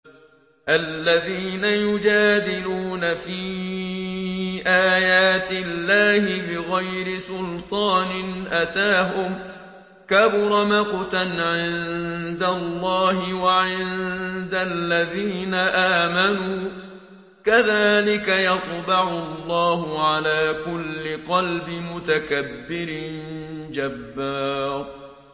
الَّذِينَ يُجَادِلُونَ فِي آيَاتِ اللَّهِ بِغَيْرِ سُلْطَانٍ أَتَاهُمْ ۖ كَبُرَ مَقْتًا عِندَ اللَّهِ وَعِندَ الَّذِينَ آمَنُوا ۚ كَذَٰلِكَ يَطْبَعُ اللَّهُ عَلَىٰ كُلِّ قَلْبِ مُتَكَبِّرٍ جَبَّارٍ